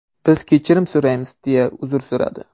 Biz kechirim so‘raymiz”, deya uzr so‘radi.